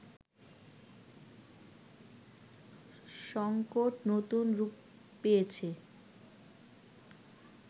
সঙ্কট নতুন রূপ পেয়েছে